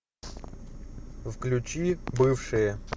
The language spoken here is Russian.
включи бывшие